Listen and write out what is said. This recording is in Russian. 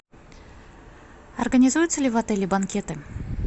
организуются ли в отеле банкеты